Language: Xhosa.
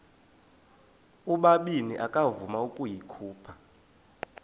ubabini akavuma ukuyikhupha